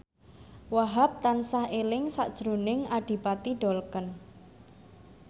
Wahhab tansah eling sakjroning Adipati Dolken